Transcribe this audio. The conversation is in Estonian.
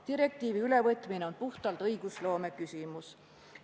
Direktiivi ülevõtmine kuulub puhtalt õigusloome valdkonda.